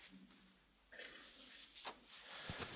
Frau Präsidentin, meine sehr geehrten Damen und Herren!